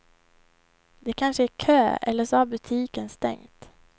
Det kanske är kö eller så har butiken stängt.